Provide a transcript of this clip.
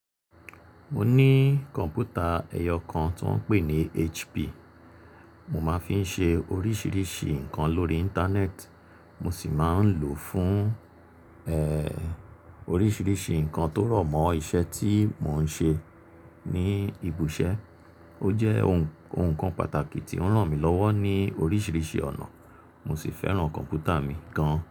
Mo ní kọ̀npútà ẹyọ kan tó ń pè ní HP. Mo máa ń fi ń ṣe oríṣiríṣi nǹkan lórí Íńtánẹ́ẹ̀tì, mo sì máa ń lò ó fún, ẹ́ẹ́, oríṣiríṣi nǹkan tó rọ̀ mọ́ iṣẹ́ tí mo ń ṣe ní ibi ise. Ó jẹ́ ohun kan pàtàkì tí ó ń ràn mí lọ́wọ́ ní oríṣiríṣi ọ̀nà, mo sì fẹ́ràn kọ̀mpútà mi gan.